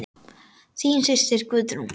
Þín systir, Guðrún.